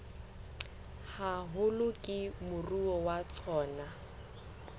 haholo ke moruo wa tsona